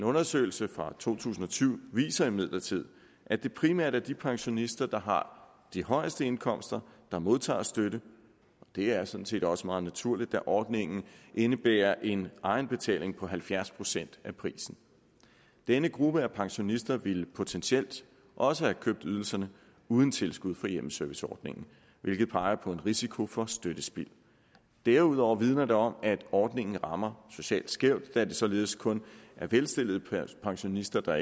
undersøgelse fra to tusind og syv viser imidlertid at det primært er de pensionister der har de højeste indkomster der modtager støtte det er sådan set også meget naturligt da ordningen indebærer en egenbetaling på halvfjerds procent af prisen denne gruppe af pensionister ville potentielt også have købt ydelserne uden tilskud fra hjemmeserviceordningen hvilket peger på en risiko for støttespild derudover vidner det om at ordningen rammer socialt skævt da det således kun er velstillede pensionister der